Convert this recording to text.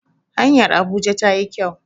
hanyar Abuja ta yi kyau